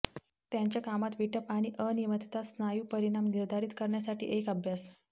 त्यांच्या कामात विटप आणि अनियमितता स्नायू परिणाम निर्धारित करण्यासाठी एक अभ्यास